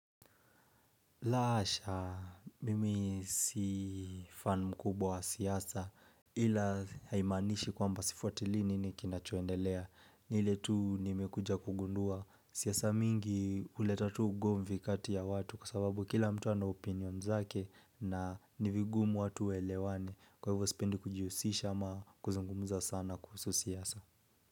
La hasha mimi si fan mkubwa wa siasa ila haimanishi kwamba sifuatili nini kinachoendelea ni ile tu nimekuja kugundua siasa mingi huleta tu ugomvi kati ya watu kwa sababu kila mtu ana opinion zake na ni vigumu watu waelewane kwa hivyo spendi kujihusisha ama kuzungumuza sana kuhusu siasa.